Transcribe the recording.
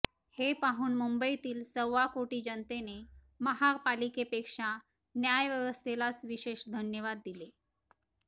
हे पाहून मुंबईतील सव्वा कोटी जनतेने महापालिकेपेक्षा न्याय व्यवस्थेलाच विशेष धन्यवाद दिले